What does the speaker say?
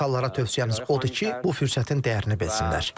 Amerikalılara tövsiyəmiz odur ki, bu fürsətin dəyərini bilsinlər.